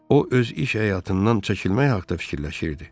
O öz iş həyatından çəkilmək haqda fikirləşirdi.